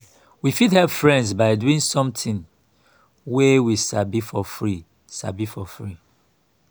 we fit help friend by doing something wey we sabi for free sabi for free